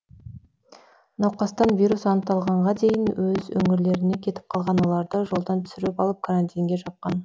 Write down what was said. науқастан вирус анықталғанға дейін өз өңірлеріне кетіп қалған оларды жолдан түсіріп алып карантинге жапқан